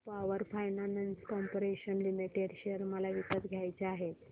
power Finance Corporation Limited share मला विकत घ्यायचे आहेत